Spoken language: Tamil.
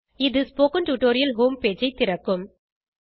இது ஸ்போக்கன் டியூட்டோரியல் ஹோம் பேஜ் ஐ திறக்கும்